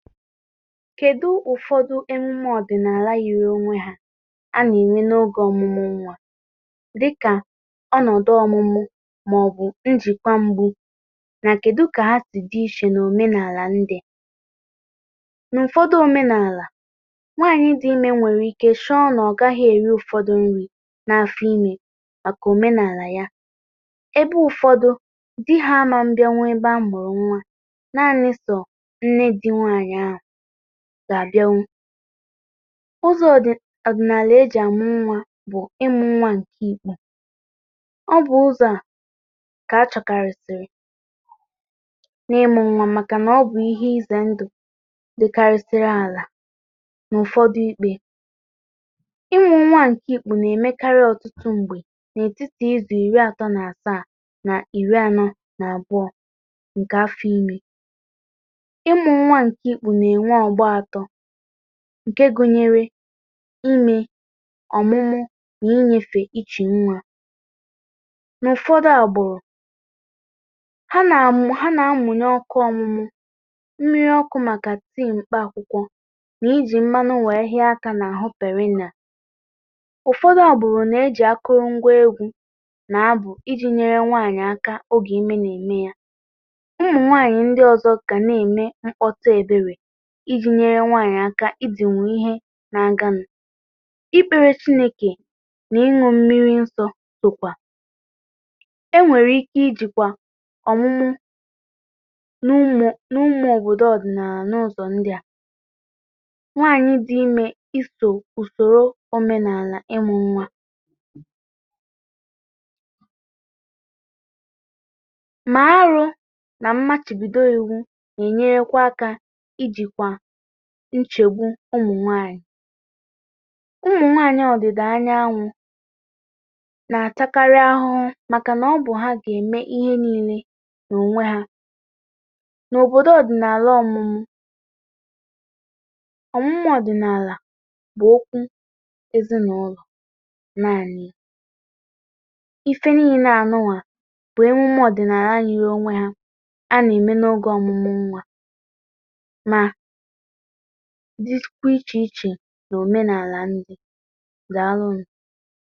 Kedu ụfọdụ emume ọdịnala yiri onwe ha a na-eme n’oge ọmụmụ nwa dịka ọnọdụ ọmụmụ ma ọ bụ njikwa mgbụ, na kedu ka ha si dị iche n’omenala ndị? N’ụfọdụ omenala, nwanyị dị ime nwere ike chọọ na ọ gaghị eri ụfọdụ nri n’afọ ime maka omenala ya, ebe ụfọdụ, di ha agaghị abịanwu ebe a mụrụ nwa naanị sọ Nne di nwanyị ahụ ga-abịanwu. Uzọ ọdịnala e ji amụ nwa bụ ịmụ nwa nke ikpu. Ọ bụ ụzọ a ka a chọ̀karisịrị n’ịmụ nwa maka na ọ bụ ihe ize ndụ dịkarịsịrị ala n’ụ̀fọdụ ikpe. Ịmụ nwa nke ikpu na-emekarị ọtụtụ mgbe n’etiti izu iri atọ na asaa na iri anọ na abụọ nke afọ ime. Ịmu nwa nke ikpu na-enwe ọgbọ atọ, nke gụnyere ime, ọmụmụ, na ineyefe ichi nwa. N’ụfọdụ agbụrụ, ha na-amụ ha na amụnye ọkụ ọmụmụ, mmiri ọkụ maka tii mkpa akwụkwọ na iji mmanụ wee hịa aka n’ahụ perena. Ụfọdụ, agbụrụ na e ji akụrụngwa egwu na abụ iji̇ nyere nwanyị aka oge ime na-eme ya. Ụmụ nwanyị ndị ọzọ ga na-eme mkpọtụ ebere, iji nyere nwanyị aka ịdinwu ihe na-aganụ. Ịkpere chineke na ịṅụ mmiri nsọ sọkwa. E nwere ike ịjikwa ọmụmụ n’ụmụ n’ụmụ obodo ọdịnala n’ụzọ ndi a. Nwanyị dị ime iso usoro omenala ịmụ nwa. Ma arụ, ma mmachibido iwu na-enyerekwa aka ijikwa nchegbu ụmụ nwanyị. Ụmụ nwaanyị ọdịda anyanwụ na-atakarị ahụhụ maka na ọ bụ ha ga-eme ihe niile n’onwe ha. N’obodo ọdịnala ọmụmụ, ọmụmụ ọdịnala bụ okwu ezinaụlọ naanị. Ihe niile a nụnwa, bụ emume ọdịnala yiri onwe ha a na-eme n’oge ọmụmụ nwa ma dịkwa iche iche n’omenala ndị. Daalụ nụ